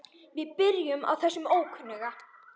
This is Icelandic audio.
Við byrjum á þessum ókunna.